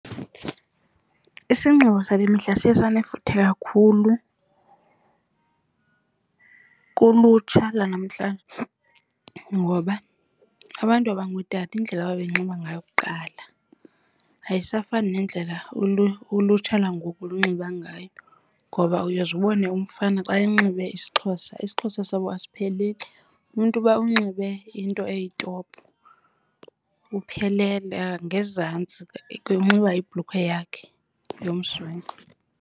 Isinxibo sale mihla siye sanefuthe kakhulu kulutsha lanamhlanje ngoba abantu abangootata indlela ababenxiba ngayo kuqala ayisafani nendlela ulutsha lwangoku lunxiba ngayo. Ngoba uyoze ubone umfana xa enxibe isiXhosa, isiXhosa sabo asipheleli. Umntu uba unxibe into eyitopu uphelele, ngezantsi unxiba ibhulukhwe yakhe yomswenko.